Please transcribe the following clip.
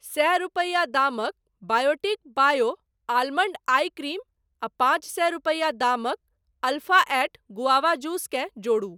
सए रूपैया दामक Biotique bio almond eye cream आ पाँच सए रूपैया दामक अल्फ़ा एट गुआवा जूस केँ जोड़ू।